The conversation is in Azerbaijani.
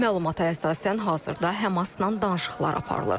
Məlumata əsasən hazırda Həmasla danışıqlar aparılır.